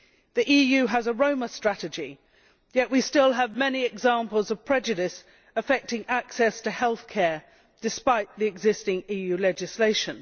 The EU has a Roma strategy, yet we still have many examples of prejudice affecting access to healthcare despite the existing EU legislation.